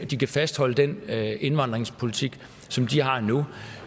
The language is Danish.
de kan fastholde den indvandringspolitik som de har nu og